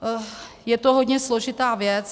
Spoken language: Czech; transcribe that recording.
Je to hodně složitá věc.